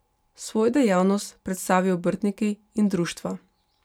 Svojo dejavnost predstavijo obrtniki in društva.